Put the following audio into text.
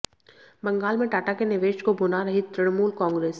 बंगाल में टाटा के निवेश को भुना रही तृणमूल कांग्रेस